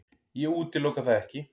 Ég útiloka það ekki.